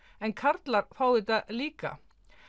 en karlar fá þetta líka